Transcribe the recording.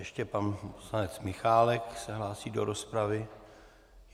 Ještě pan poslanec Michálek se hlásí do rozpravy.